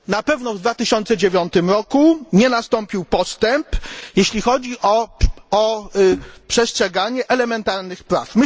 Na pewno w 2009 roku nie nastąpił postęp, jeśli chodzi o przestrzeganie elementarnych praw.